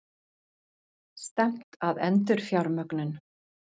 Stefnt að endurfjármögnun